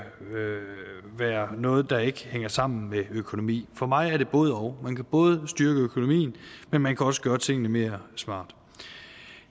være noget der ikke hænger sammen med økonomi for mig er det både og man kan både styrke økonomien men man kan også gøre tingene mere smart